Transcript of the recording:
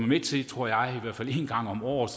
med til tror jeg i hvert fald en gang om året